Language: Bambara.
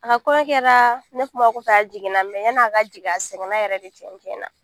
A ka kɔɲɔ kɛra ne kuma kɔfɛ a jiginna yann'a ka jigin a sɛgɛnna yɛrɛ de tiɲɛ tiɲɛ na